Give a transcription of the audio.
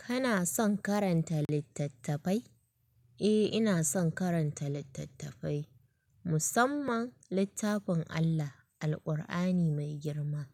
Kana son karanta littattafai? Eh, ina son karanta littattafai, musamman littafin Allah, Alkur'ani mai girma,